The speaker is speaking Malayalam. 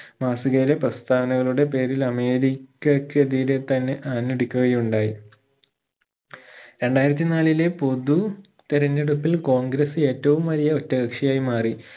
മാസികയിലെ പ്രസ്ഥാനകളുടെ പേരിൽ അമേരികക്ക് എതിരെ തന്നെ ആഞ്ഞടിക്കുകയുണ്ടായി രണ്ടായിരത്തി നാലിലെ പൊതു തിരഞ്ഞെടുപ്പിൽ കോൺഗ്രസ് ഏറ്റവും വലിയ ഒറ്റ കക്ഷിയായി മാറി